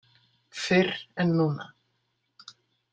Fyrr en núna.